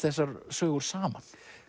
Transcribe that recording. þessar sögur saman